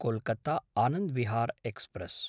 कोल्कत्ता–आनन्दविहार् express